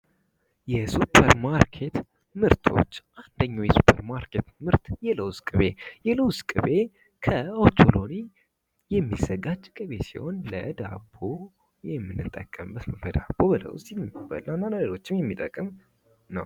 የሱፐር ማርኬት ምርቶች አንደኛው ዮሱፐር ማርኬት ምርት የለውዝ ቅቤ የለውዝ ቅቤ ከኦቾሎኒ የሚዘጋጅ ቅቤ ሲሆን ለዳቦ የምንጠቀመበት በዳቦ በለውዝ የሚበላ ለልጆችም የሚጠቅም ነው።